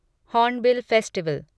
hornbill festival